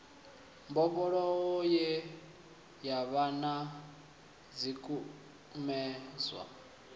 mbofholowo ye yavha na zwikumedzwa